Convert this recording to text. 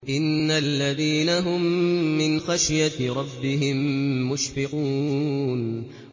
إِنَّ الَّذِينَ هُم مِّنْ خَشْيَةِ رَبِّهِم مُّشْفِقُونَ